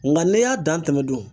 Nka n'i y'a dan tɛmɛ dun.